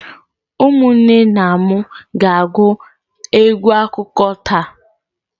Ụmụnne na m ga-agụ egwu akụkọ taa.